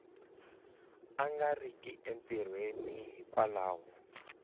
a nga riki entirhweni hikwalaho